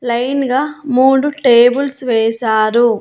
Line గా మూడు tables వేసారు.